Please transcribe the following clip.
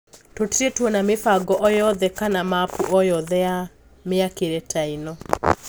Tũtiri twona mibango o yothe kana mapu o yothe ya miakire taino.